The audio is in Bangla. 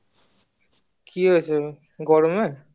কি হয়েছে গরমে